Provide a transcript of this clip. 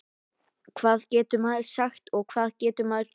Hvað getur maður sagt og hvað getur maður gert?